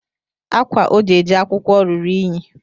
Ákwá o ji eje akwụkwọ ruru eyi